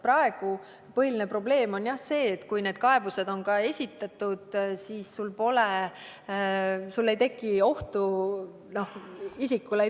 Praegu on põhiline probleem see, et esitatud kaebuste korral pole tekkinud ohtu isikule.